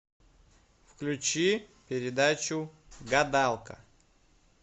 включи передачу гадалка